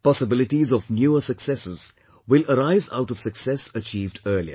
Possibilities of newer successes will arise out of success achieved earlier